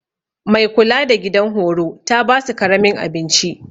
Mai kula da gidan horo ta basu karamin abinci.